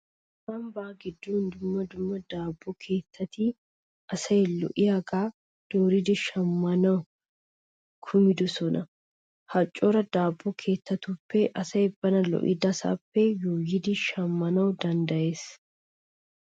Ambbaa giddon dumma dumma daabbo keettati asay lo'iyagaa dooridi shammanawu kumidosona. Ha cora daabbo keettaappe asay bana lo'idasaappe yuuyidi shammana danddayees.